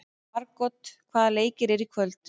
Margot, hvaða leikir eru í kvöld?